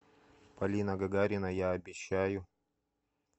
полина гагарина я обещаю